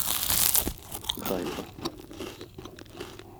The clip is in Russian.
хайфа